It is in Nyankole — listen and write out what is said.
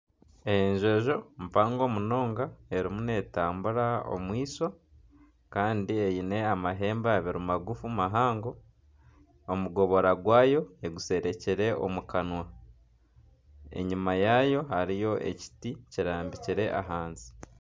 Enjojo mpango munonga eriyo neetambura omwishwa kandi eine amahembe abiri magufu mahango omugobora gwayo egusherekire omu kanwa enyuma yaayo hariyo emiti kirambikire ahansi.